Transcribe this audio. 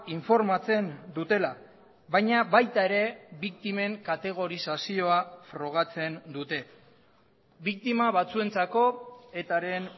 informatzen dutela baina baita ere biktimen kategorizazioa frogatzen dute biktima batzuentzako etaren